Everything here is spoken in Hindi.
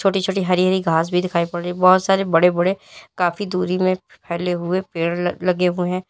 छोटी छोटी हरी हरी घास भी दिखाई पड़ रही है बहोत सारे बड़े बड़े काफी दूरी में फैले हुए पेड़ लगे हुए हैं।